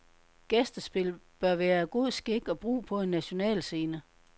Gæstespil bør være god skik og brug på en national scene.